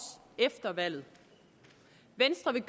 efter valget venstre vil